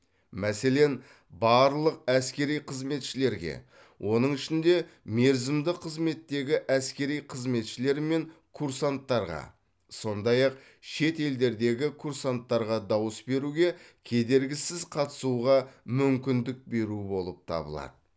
мәселен барлық әскери қызметшілерге оның ішінде мерзімді қызметтегі әскери қызметшілер мен курсанттарға сондай ақ шет елдердегі курсанттарға дауыс беруге кедергісіз қатысуға мүмкіндік беру болып табылады